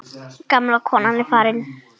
Gamla konan er farin.